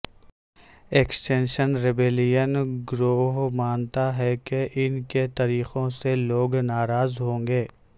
extinction rebellion گروہ مانتا ہے کہ ان کے طریقوں سے لوگ ناراض ہوں گے